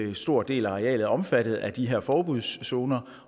en stor del af arealet er omfattet af de her forbudszoner